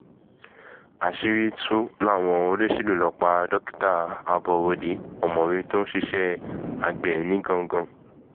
àṣírí tù wọ́n láwọn olóṣèlú ló pa dókítà aborode ọ̀mọ̀wé tó ń ṣiṣẹ́ àgbẹ̀ nìgangan